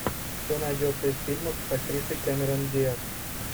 что найдется из фильмов с актрисой кэмерон диаз